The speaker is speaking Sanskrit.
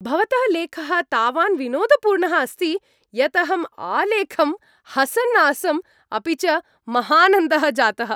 भवतः लेखः तावान् विनोदपूर्णः आसीत् यत् अहम् आलेखं हसन् आसम्, अपि च महानन्दः जातः।